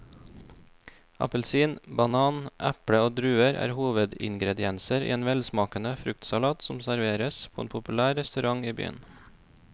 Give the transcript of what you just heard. Appelsin, banan, eple og druer er hovedingredienser i en velsmakende fruktsalat som serveres på en populær restaurant i byen.